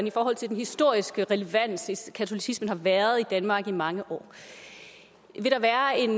i forhold til den historiske relevans altså katolicismen har været i danmark i mange år